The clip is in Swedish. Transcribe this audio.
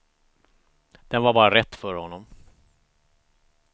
Den var bara rätt för honom.